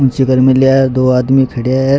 निचे घर मिलया है दो आदमी खडया है।